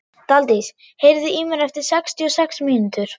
Daldís, heyrðu í mér eftir sextíu og sex mínútur.